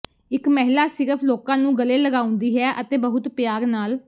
ਇਹ ਮਹਿਲਾ ਸਿਰਫ ਲੋਕਾਂ ਨੂੰ ਗਲੇ ਲਗਾਉਂਦੀ ਹੈ ਅਤੇ ਬਹੁਤ ਪਿਆਰ ਨਾਲ